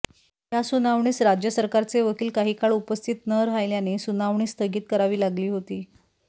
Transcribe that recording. या सुनावणीस राज्य सरकारचे वकील काही काळ उपस्थित न राहिल्याने सुनावणी स्थगित करावी लागली होती